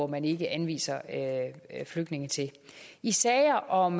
man ikke anviser flygtninge til i sager om